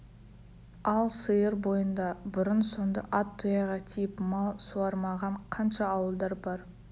ал сыр бойында бұрын-соңды ат тұяғы тиіп мал суармаған қанша ауылдар бар